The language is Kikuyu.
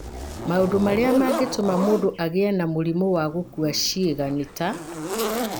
Maũndũ marĩa mangĩtũma mũndũ agĩe na mũrimũ wa gũkua ciĩga nĩ ta: